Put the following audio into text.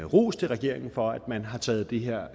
ros til regeringen for at man har taget det her